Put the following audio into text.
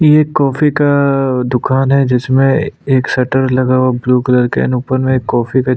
ये एक कॉफ़ी का दुकान है जिसमे एक शटर लगा हुआ है ब्लू कलर का एंड ऊपर में एक कॉफ़ी का--